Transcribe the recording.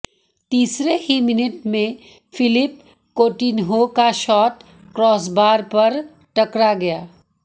तीसरे ही मिनट में फिलिप कोटिन्हो का शॉट क्रॉसबार पर टकरा गया